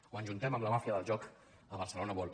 o ens ajuntem amb la màfia del joc a barcelona world